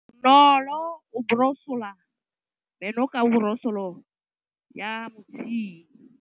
Bonolô o borosola meno ka borosolo ya motšhine.